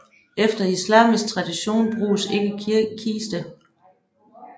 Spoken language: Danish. Efter islamisk tradition bruges ikke kiste